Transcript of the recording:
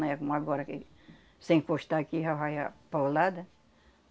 Não é como agora, que se você encostar aqui já vai a paulada.